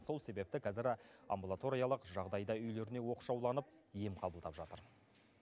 сол себепті қазір амбулаториялық жағдайда үйлеріне оқшауланып ем қабылдап жатыр